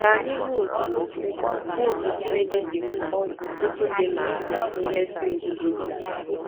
Ka anyị hụ otú hụ otú Chineke si hụ na ọtụtụ ndị maara ihe nzuzo a.